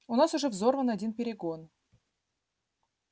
у нас уже взорван один перегон